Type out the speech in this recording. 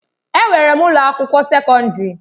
Enwere m ụlọ akwụkwọ sekọndrị.